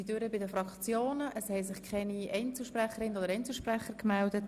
Es konnten sich alle Fraktionen äussern, und ich habe keine Einzelsprecher gemeldet.